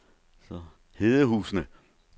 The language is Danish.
Hedehusene